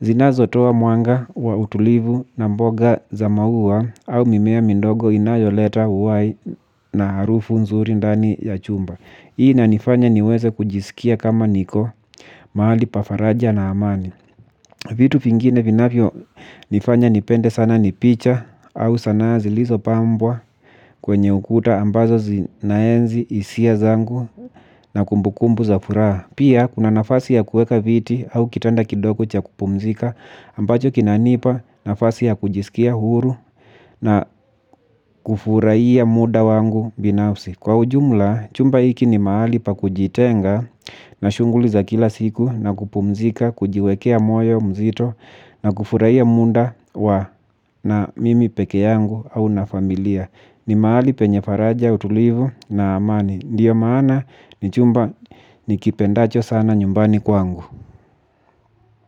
zinazo toa mwanga wa utulivu na mboga za maua au mimea mindogo inayoleta uhai na harufu nzuri ndani ya chumba. Hii ina nifanya niweze kujisikia kama niko mahali pa faraja na amani. Vitu vingine vinafyo nifanya nipende sana ni picha au sana zilizopambwa kwenye ukuta ambazo zinaenzi hisia zangu na kumbukumbu za furaha. Pia kuna nafasi ya kueka viti au kitanda kidogo cha kupumzika ambacho kinanipa nafasi ya kujisikia huru na kufurahiya muda wangu binafsi. Kwa ujumla chumba iki ni mahali pa kujitenga na shughuli za kila siku na kupumzika. Kujiwekea moyo mzito na kufurahiya muda wa na mimi peke yangu au na familia. Ni mahali penye faraja utulivu na amani. Ndio maana ni chumba ni kipendacho sana nyumbani kwangu.